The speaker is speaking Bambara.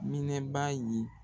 Minɛ baa ye